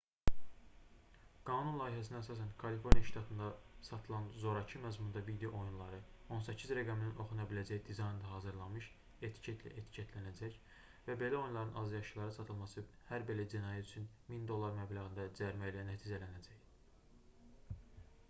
qanun layihəsinə əsasən kaliforniya ştatında satılan zorakı məzmunda video oyunları 18 rəqəminin oxuna biləcəyi dizaynda hazırlanmış etiketlə etiketlənəcək və belə oyunların azyaşlılara satılması hər belə cinayət üçün 1000$ məbləğində cərimə ilə nəticələnəcək